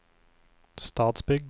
Stadsbygd